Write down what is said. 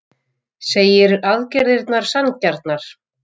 Segir aðgerðirnar sanngjarnar